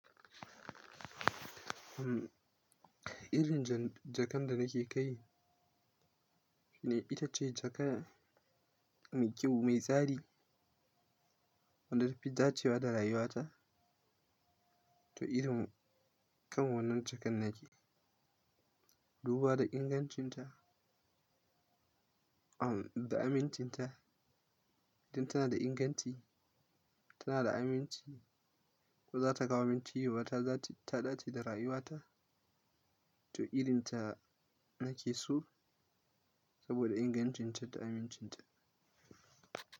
Umm, irin ja-jakan da nake kai, ita ce jaka mai kyau, mai tsari, wanda fitacewa da rayuwata. To irin kan wannan jakan nake, duba da ingancinta, umm, da amincinta. Don tana da inganti, tana da aminci, ko za ta kawo aminci wa ta za ta ɗace da rayuwata. To irin ta nake so saboda ingancinta da amincinta.